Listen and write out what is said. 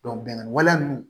bɛnkan wale ninnu